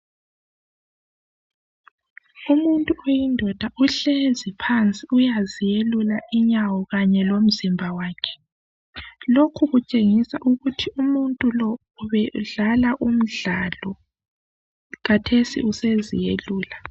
Umuntu oyindoda ohlezi phansi uyazelula inyawo kanye komzimba wakhe. Lokhu kutshengisa ukuthi umuntu Lo ubedlala umdlali kathesi usezelula.